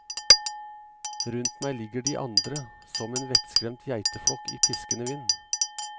Rundt meg ligger de andre, som en vettskremt geiteflokk i piskende vind.